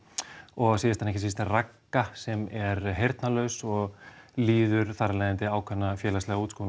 og síðast en ekki síst er Ragna sem er heyrnarlaus og líður þar af leiðandi ákveðna félagslega